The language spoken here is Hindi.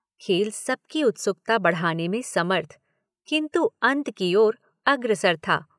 खेल सबकी उत्सुकता बढ़ाने में समर्थ, किन्तु अंत की ओर अग्रसर था।